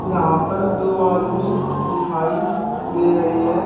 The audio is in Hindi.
यहां पर दो आदमी दिखाई दे रहे हैं।